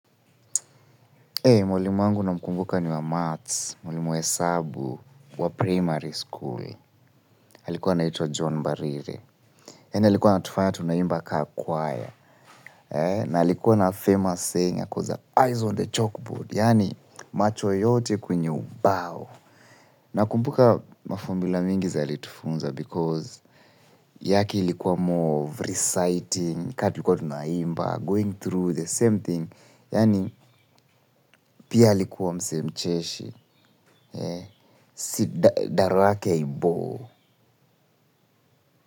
Mwalimu wangu namkumbuka ni wa maths, mwalimu hesabu wa primary school. Alikuwa na ito John Mbarire. Yani alikuwa anatufanya tunaimba kaa kwaya. Na alikuwa na famous saying because the eyes on the chalkboard. Yani macho yote kwenye ubao. Nakumbuka ma formula mingi za alitufunza because yake likuwa more reciting, kaa tulikuwa tunaimba, going through, the same thing. Yani pia alikuwa mse mcheshi. Si daro yake haibore.